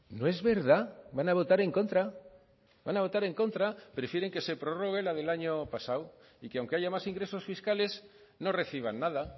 no es verdad van a votar en contra van a votar en contra prefieren que se prorrogue la del año pasado y que aunque haya más ingresos fiscales no reciban nada